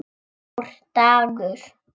Stór dagur?